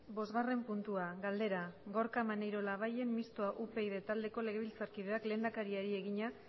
bosgarren puntua galdera gorka maneiro labayen mistoa upyd taldeko legebiltzarkideak lehendakariari egina